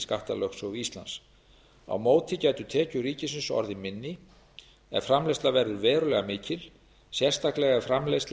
skattalögsögu íslands á móti gætu tekjur ríkisins orðið minni ef framleiðsla verður verulega mikil sérstaklega ef framleiðsla